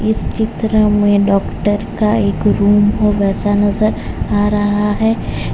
इस चित्र में डॉक्टर का एक रूम हो वैसा नजर आ रहा है।